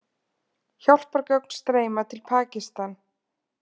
Hjálpargögn streyma til Pakistan